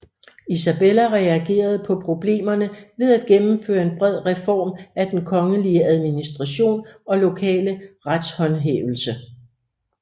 Isabella reagerede på problemerne ved at gennemføre en bred reform af den kongelige administration og lokale retshåndhævelse